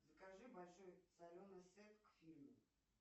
закажи большой соленый сет к фильму